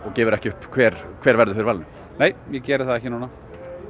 gefur ekki upp hver hver verður fyrir valinu nei ég geri það ekki núna